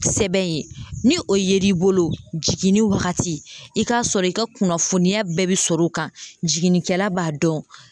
Sɛbɛn ye ni o yer'i bolo jiginni wagati i k'a sɔrɔ i ka kunnafoniya bɛɛ bi sɔr'o kan jiginnikɛla b'a dɔn